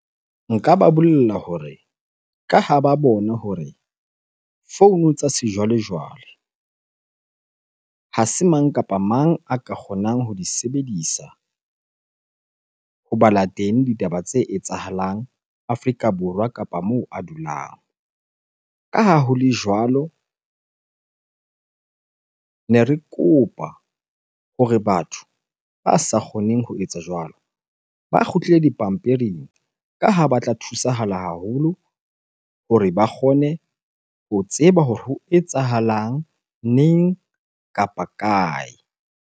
Nka ba bolella hore ka ha ba bona hore founu tsa sejwalejwale ha se mang kapa mang a ka kgonang ho di sebedisa ho bala teng ditaba tse etsahalang Afrika Borwa kapa moo a dulang. Ka ha ho le jwalo, ne re kopa hore batho ba sa kgoneng ho etsa jwalo ba kgutlele dipampiring ka ha ba tla thusahala haholo hore ba kgone ho tseba hore ho etsahalang neng? Kapa kae?